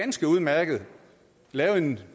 ganske udmærket lave en